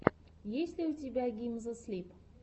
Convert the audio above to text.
есть ли у тебя гизмо слип